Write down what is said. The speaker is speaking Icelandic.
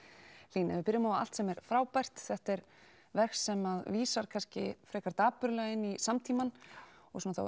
Hlín ef við byrjum á allt sem er frábært þetta er verk sem vísar kannski frekar dapurlega inn í samtímann og svona þá